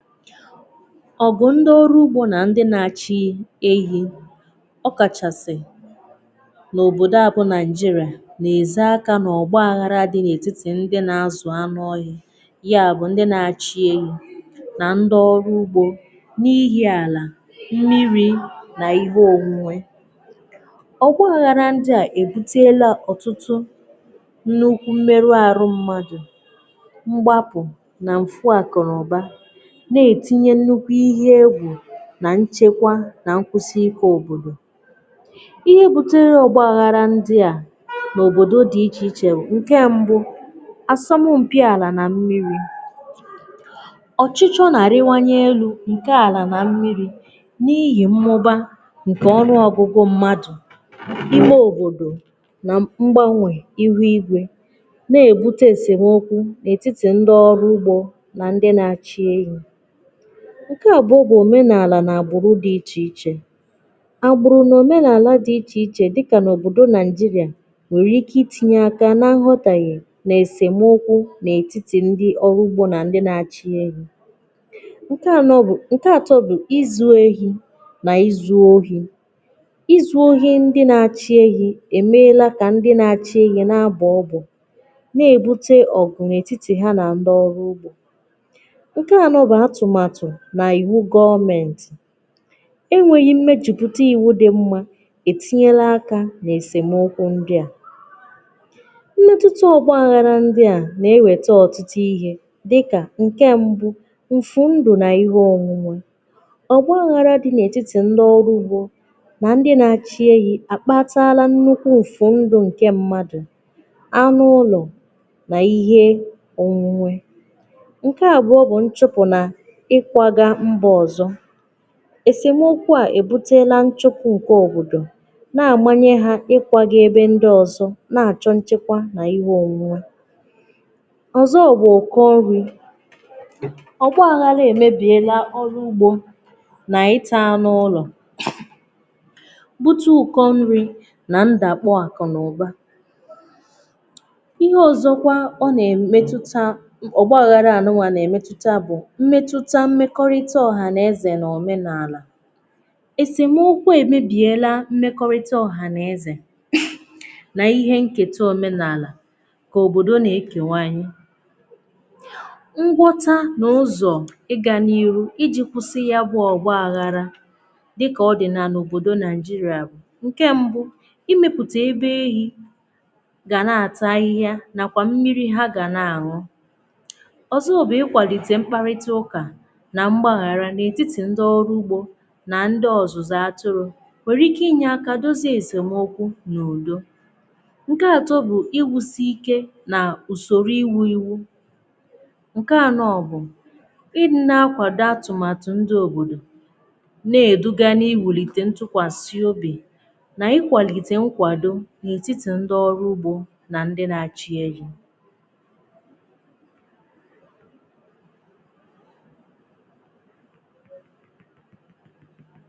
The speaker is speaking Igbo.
"Ọgụ̀ ndị ọrụ̇ ugbȯ nà ndị nà-achị̇ ehi̇, ọ kàchàsị̀ n’òbòdò à bụ̀ naị̀jịrà, nà-èzè aka nà ọ̀gbaghȧrȧ dị n’ètitì ndị nà-azụ̀ anụ̇ ọhị̀ ya bụ̀ ndị nà-achị̇ ehi̇ nà ndị ọrụ ugbȯ n’ihì àlà mmiri̇ nà ihe òwùnwe. Ọgbaghara ndị à èbutela ọ̀tụtụ nnùukwu m̀mèrụ àrụ mmadụ̀, m̀gbapụ̀ nà m̀fụ àkụ̀ nà ụ̀ba, na-etinye nnukwu ihe egwù na nchekwà na nkwụsị ike òbodò. Ihe butere ọgbàgharà ndị à n’òbodò dị iche ichè bụ̀: nke mbụ, asọmụ mpì alà na mmiri: Ọchịchọ na-arịwanye elu̇ nke alà na mmiri n'ihì mmụba nke ọnụ̀ ọgụgụ̀ mmadụ̀, ime òbodò, na mgbanwè ihu igwè, na-ebute esemokwu n’etiti ndị ọrụ ugbọ̀ na ndị na-achị ehi. Nke abụọ bụ omenaalà n'agbụ̀rụ̀ dị ichè ichè: Agbụ̀rụ̀ n’omenaalà dị ichè ichè dịkà n’òbòdò naijirà, nwèrè ike itinyè aka nà nghọtàhị̀e nà esemokwù n’etiti ndị ọrụ ugbò nà ndị na-achị̀ ehi̇. Nke anọ bụ̀, nke atọ bụ: ịzụ ehi̇ nà izu ohi̇: Izu ohi̇ ndị na-achị̇ ehi̇ èmeela kà ndị na-achị̀ ehi̇ n’abọ ọbọ, na-ebute ọgụ̀ n’etiti ha na ndị ọrụ ugbò. Nke anọ bụ atụmatụ na iwu gọmėntị̀: Enweghì mmeju̇pụtà iwu dị̇ mmà etinyela akȧ na-esemokwu ndị à. Mmetụtà ọgbȧghȧrȧ ndị à na-ewète ọ̀tụtụ ihe dịkà: nke mbụ: mfu ndụ̀ na ihe ọ̀nwụnwe: Ọgbȧghȧrȧ dị na-etiti ndị ọrụ ugbȯ na ndị na-achị ehi, a kpatara nnukwu mfụ ndụ̀ nke mmadụ̀, anụ̇ ụlọ̀, na ihe onwunwe. Nke abụọ bụ nchụpụ na ịkwaga mba ọzọ: Esemokwu à ebutela nchụpụ nke obodò na-amanye hà ịkwaga ebe ọzọ̀, na-achọ nchekwà na ihe onwunwè. Ọzọ bụ, Ụkọ nri: ọgbaghàra emebiela ọrụ̀ ugbò na ịta anụ̀ ụlọ̀ bute ụkọ nri na ndàkpọ akụ na ụbà. Ihe ọzọkwa ọ na-emetutà Õgbaghàra anụnwà na-emetutà mmekọrịta ọhaneze na omenaalà: Esemokwu emebiela mmekọrịta ọhaneze na ihe nketa omenaalà, ka obodo na-ekewanyị̀. Ngwọta na ụzọ̀ ịga n'iru i ji kwụsị ya bụ ọgbaghara dịka ọdị n'ala obodo Naịjirịa bụ̀: nke mbụ, Imeputà ebe ehì ga na-atà ahịhịà nakwà mmiri ha ga na-aṅụ̀..Ọzọ bụ, Ị kwalite mkparịtà ụkà na mgbaghara n’etiti ndị ọrụ̀ ugbò nà ndị ọzụzụ atụrụ̀ nwere ike inye aka dozie esemokwù n’udo. Nke atọ bụ Iwusi ike nà usorò iwu iwu. Nke anọ bụ i dị nà-akwàdo atụ̀matụ̀ ndị̀ òbodò na-eduga n’iwulite ntụkwàsị obì nà ikwalite nkwàdò n’etiti ndị ọrụ̀ ugbò nà ndị na-achị̀ ehi